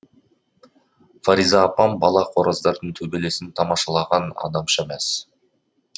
фариза апам бала қораздардың төбелесін тамашалаған адамша мәз